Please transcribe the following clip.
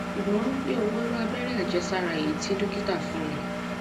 ṣùgbọn mi ò mọ iru abere ajesara eyi tí dókítà fún mi